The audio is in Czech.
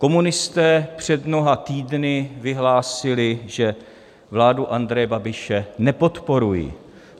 Komunisté před mnoha týdny vyhlásili, že vládu Andreje Babiše nepodporují.